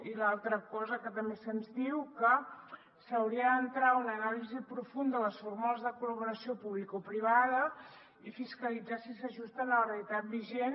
i l’altra cosa que també se’ns diu que s’hauria d’entrar a una anàlisi profunda de les fórmules de col·laboració publicoprivada i fiscalitzar si s’ajusten a la realitat vigent